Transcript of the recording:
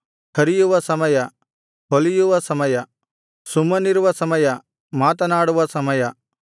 ಹರಿಯುವ ಸಮಯ ಹೊಲಿಯುವ ಸಮಯ ಸುಮ್ಮನಿರುವ ಸಮಯ ಮಾತನಾಡುವ ಸಮಯ